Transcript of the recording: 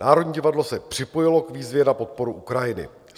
Národní divadlo se připojilo k výzvě na podporu Ukrajiny.